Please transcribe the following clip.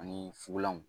Ani fukolanw